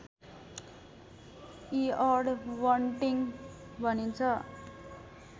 eared bunting भनिन्छ